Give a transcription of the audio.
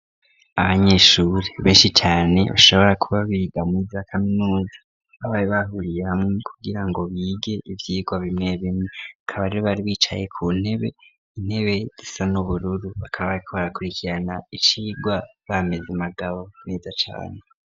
Abanyeshure benshi cane bashobora kuba biga muri za kaminuza, bari bahuriye hamwe kugira ngo bige ivyigwa bimwe bimwe. Bakaba rero bari bari bicaye ku ntebe, intebe zisa n'ubururu. Bakaba bariko barakurikirana icigwa bameze magabo meza cane.